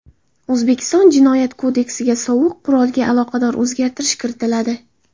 O‘zbekiston Jinoyat kodeksiga sovuq qurolga aloqador o‘zgartish kiritiladi.